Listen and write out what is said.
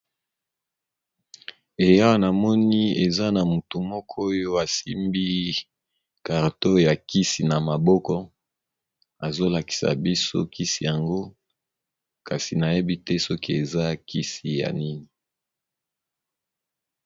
Awa, namoni eza na motu moko oyo asimbi karto ya kisi na maboko; azolakisa biso kisi yango. Kasi, nayebi te soki eza kisi ya nini.